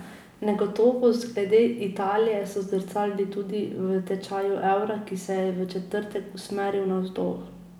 Negotovost glede Italije se zrcali tudi v tečaju evra, ki se je v četrtek usmeril navzdol.